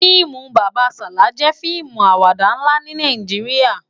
FIimú Baba Sala jè fiimú àwàdá nlá ni Nàijiriá